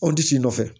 Anw ti si nɔfɛ